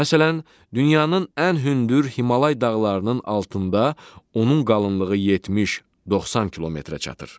Məsələn, dünyanın ən hündür Himalay dağlarının altında onun qalınlığı 70-90 kilometrə çatır.